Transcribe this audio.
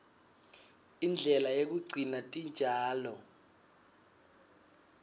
indlela yekugcina titjalo